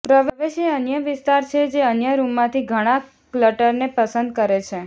પ્રવેશ એ અન્ય વિસ્તાર છે જે અન્ય રૂમમાંથી ઘણાં ક્લટરને પસંદ કરે છે